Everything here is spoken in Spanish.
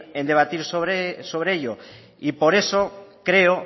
sobre ello y por eso creo